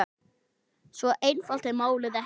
Svo einfalt er málið ekki.